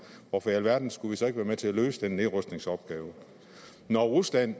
hvorfor alverden skulle vi så ikke være med til at løse den nedrustningsopgave når rusland